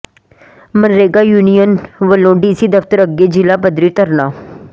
MNREGA union ਵੱਲੋਂ DC ਦਫ਼ਤਰ ਅੱਗੇ ਜ਼ਿਲ੍ਹਾ ਪੱਧਰੀ ਧਰਨਾ